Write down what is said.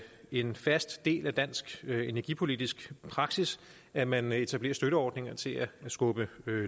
en fast del af dansk energipolitisk praksis at man etablerer støtteordninger til at skubbe